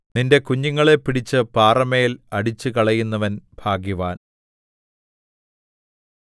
നിന്റെ കുഞ്ഞുങ്ങളെ പിടിച്ച് പാറമേൽ അടിച്ചുകളയുന്നവൻ ഭാഗ്യവാൻ